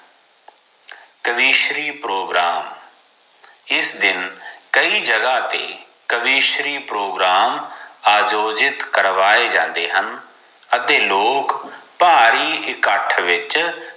ਕਵੀਸ਼ਰੀ programme ਇਸ ਦਿਨ ਕਈ ਜਗਾ ਤੇ ਕਵੀਸ਼ਰੀ ਪ੍ਰੋਗਰਾਮ ਆਯੋਜਿਤ ਕਰਵਾਏ ਜਾਂਦੇ ਹਨ ਅਤੇ ਲੋਗ ਭਾਰੀ ਇਕੱਠ ਵਿਚ